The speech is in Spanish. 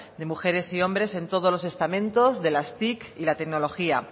de mujeres y hombres en todos los estamentos de las tic y la tecnología